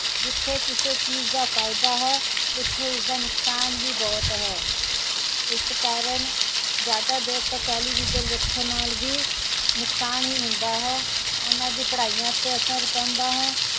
ਜਿਥੇ ਕਿਸੇ ਚੀਜ਼ ਦਾ ਫਾਇਦਾ ਹੈ ਉਥੇ ਉਸਦਾ ਨੁਕਸਾਨ ਵੀ ਬਹੁਤ ਹੈ ਇਸ ਕਾਰਣ ਜਿਆਦਾ ਦੇਰ ਤਕ television ਵੇਖਣ ਨਾਲ ਵੀ ਨੁਕਸਾਨ ਹੀ ਹੁੰਦਾ ਹੈ ਉਹਨਾਂ ਦੀ ਪੜ੍ਹਾਇਆ ਤੇ ਅਸਰ ਪੈਂਦਾ ਹੈ